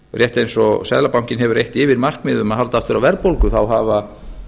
rétt eins og seðlabankinn hefur eitt yfirmarkmið um að halda aftur af verðbólgu hafa